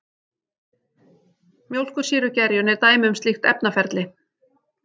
Mjólkursýrugerjun er dæmi um slíkt efnaferli.